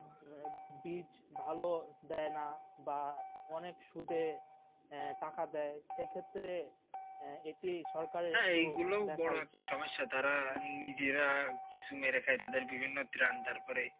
বীজ ভালো দে না বা অনেক সুদে টাকা দেয় সেই ক্ষেত্রে যেটি সরকারের